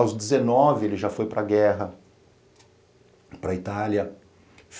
Aos dezenove ele já foi para a guerra, para a Itália.